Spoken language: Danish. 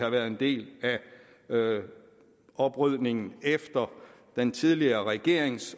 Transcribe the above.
en andel i oprydningen efter den tidligere regering